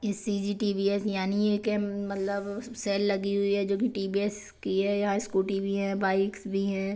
सी_ G_ T_ V_ S यानी ये के मतलब सेल लगी हुई है जो की टी_ वी_ एस की है यहां स्कूटी भी हैं बाइक्स भी हैं।